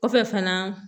Kɔfɛ fana